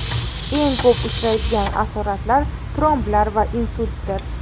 Eng ko‘p uchraydigan asoratlari tromblar va insultdir.